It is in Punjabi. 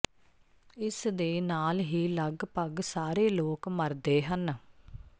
ਇਸ ਦੇ ਨਾਲ ਹੀ ਲਗਭਗ ਸਾਰੇ ਲੋਕ ਮਰਦੇ ਹਨ